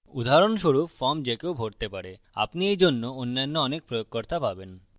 উদাহরণস্বরূপform যে কেউ ভরতে পারে আপনি এইজন্য অন্যান্য অনেক প্রয়োগকর্তা পাবেন